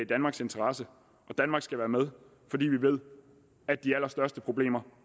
danmarks interesse og danmark skal være med fordi vi ved at de allerstørste problemer